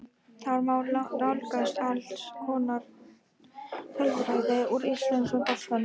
Þar má nálgast alls konar tölfræði úr íslenska boltanum.